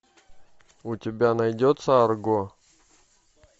у тебя найдется арго